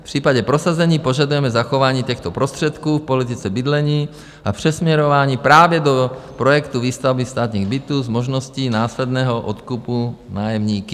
V případě prosazení požadujeme zachování těchto prostředků v politice bydlení a přesměrování právě do projektu výstavby státních bytů s možností následného odkupu nájemníky.